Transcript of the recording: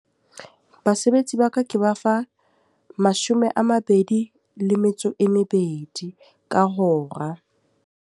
Basebetsi ba ka ke ba fa mashome a mabedi le metso e mebedi ka hora.